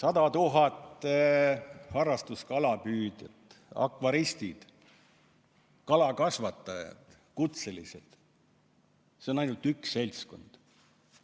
Sada tuhat harrastuskalapüüdjat, akvaristid, kalakasvatajad, kutselised – see on ainult üks seltskond.